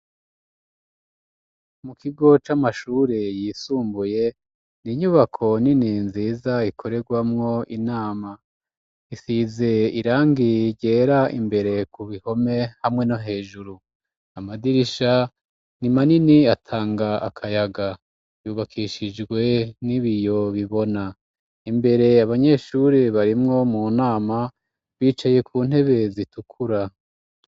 Mu kigo c'amashure yisumbuye, n'inyubako nini nziza ikorerwamwo inama, isize irangi ryera imbere ku bihome hamwe no hejuru, amadirisha ni manini atanga akayaga, yubakishijwe n'ibiyo bibona, imbere abanyeshure barimwo mu nama, bicaye ku ntebe zitukura.